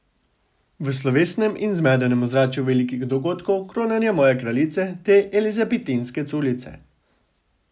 V slovesnem in zmedenem ozračju velikih dogodkov, kronanja moje kraljice, te elizabetinske culice.